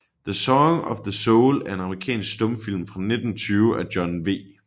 The Song of the Soul er en amerikansk stumfilm fra 1920 af John W